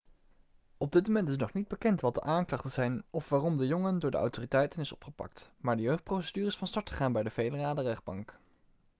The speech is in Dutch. op dit moment is nog niet bekend wat de aanklachten zijn of waarom de jongen door de autoriteiten is opgepakt maar de jeugdprocedure is van start gegaan bij de federale rechtbank